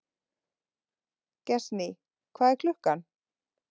Gestný, hvað er klukkan?